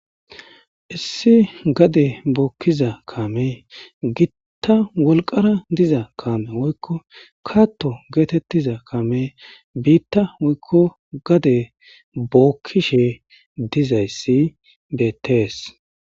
Issi gade bookiza kamey giita wolqama kame woykko katto getetiza kamey gade bookishe dizays betes.